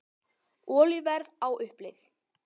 Olíuverð á uppleið